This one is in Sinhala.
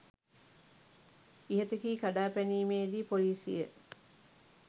ඉහත කී කඩා පැනීමේ දී පොලිසිය